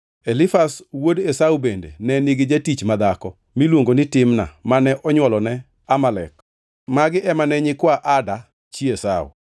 Elifaz wuod Esau bende ne nigi jatich madhako miluongo ni Timna mane onywolone Amalek. Magi ema ne nyikwa Ada chi Esau.